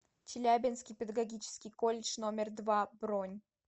челябинский педагогический колледж номер два бронь